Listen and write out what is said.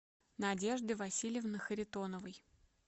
надежды васильевны харитоновой